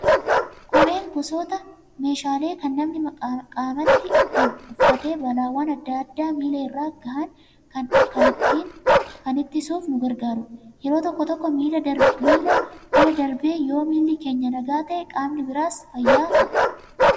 Kopheen gosoota meeshaalee kan namni qaamatti ittiin uffatee balaawwan addatti miila irra gahan kan ittisuuf nu gargaarudha. Yeroo tokko tokko miila bira darbee yoo miilli keenya nagaa ta'ee qaamni biraas fayyaa ta'a.